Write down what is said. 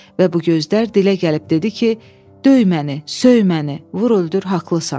Və bu gözlər dilə gəlib dedi ki: "Döy məni, söy məni, vur-öldür, haqlısan."